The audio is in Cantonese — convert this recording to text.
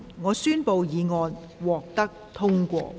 我宣布議案獲得通過。